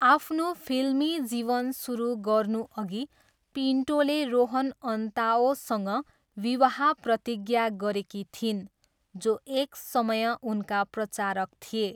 आफ्नो फिल्मी जीवन सुरु गर्नुअघि पिन्टोले रोहन अन्ताओसँग विवाह प्रतिज्ञा गरेकी थिइन्, जो एक समय उनका प्रचारक थिए।